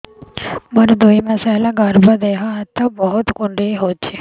ମୋର ଦୁଇ ମାସ ହେଲା ଗର୍ଭ ଦେହ ହାତ ବହୁତ କୁଣ୍ଡାଇ ହଉଚି